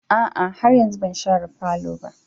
A'a, har yanzu ban share falo ba.